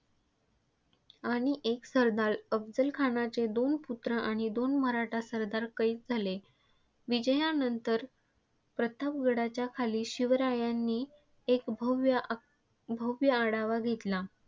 आणि एक सरदार, अफझलखानाचे दोन पुत्र आणि दोन मराठा सरदार कैद झाले. विजयानंतर प्रतापगडाच्या खाली शिवरायांनी एक भव्य आ आढावा घेतला.